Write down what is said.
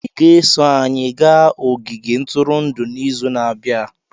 Ị ga-eso anyị gaa ogige ntụrụndụ n'izu na-abịa.